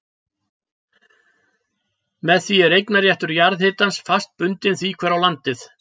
Með því er eignarréttur jarðhitans fast bundinn því hver á landið.